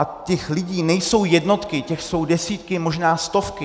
A těch lidí nejsou jednotky, těch jsou desítky, možná stovky.